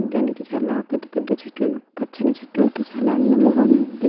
చూడటానికి చాలపెద్ద పెద్ద చెట్లు పచ్చని చెట్లతో చాల అందంగా ఉన్నది --